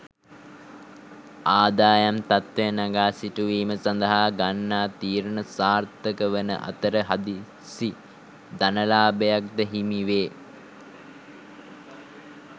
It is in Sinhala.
ආදායම් තත්වය නගා සිටුවීම සඳහා ගන්නා තීරණ සාර්ථක වන අතර හදිසි ධනලාභයක් ද හිමි වේ.